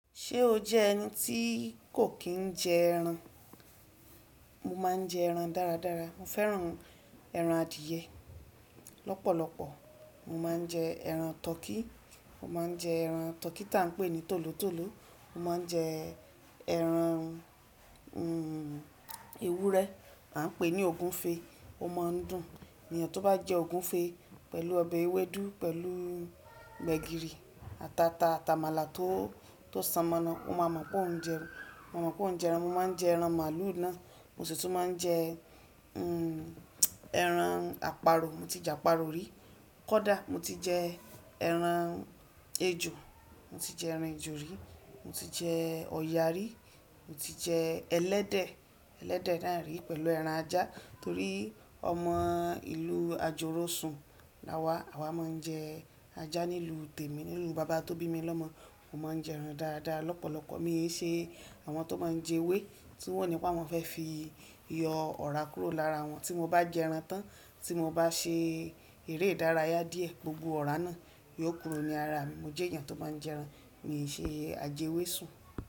Ṣé o jẹ́ ẹni tí kò kí ń jẹ ẹran? Mo máa ń jẹ ẹran dára dára. Mo fẹ́ràn ẹran adìẹ lọ́pọ̀lọpọ̀. Mo máa ń jẹ ẹran tọkí. Mo máa ń jẹ ẹran tọkí ta ń pè ní tòlótòló. Mo máa ń jẹ ẹran, ẹran ewúrẹ́ ta ń pè ní ògúnfe. Ó máa ń dùn ènìyàn tó bá jẹ ògúnfe pẹ̀lú ọbẹ̀ ewédú pẹ̀lú gbẹ̀gìrì àtàtà àtàmàlà tó, tó ṣànmọ́ná. Ó máa mọ̀ pé ó ń jẹ ẹran. Mo mọ̀ pé ó ń jẹ ẹran. Mo máa ń jẹ ẹran màlúù náà. Mo sì tún máa ń jẹ ẹran àparò. Mo ti jẹ àparò rí. Kódà mo ti jẹ ẹran ejò. Mo ti jẹ ẹran ejò rí. Mo ti jẹ ọ̀yà rí. Mo ti jẹ ẹlẹ́dẹ̀, ẹlẹ́dẹ̀ náà rí pẹ̀lú ẹran ajá torí ọmọ ìlú Ajọrósun la wá. Àwa máa ń jẹ ajá nílùú tèmi. Nínú bàbá tó bí mi lọ́mọ. Mo máa ń jẹ ẹran dára dára lọ́pọ̀lọpọ̀. Mi ò ṣe àwọn tó máa ń jẹ ewé tí wọ́n ní pé wọ́n fẹ́ fi yọ ọ̀rá kúrò lára wọn. Tí mo bá jẹ ẹran tán, tí mo bá ṣe eré ìdárayá díẹ̀, gbogbo ọ̀rá náà yóò kúrò ní ara mi. Mo jẹ́ èèyàn tó bá ń jẹ ẹran. Mi ò ṣe ajewé sùn.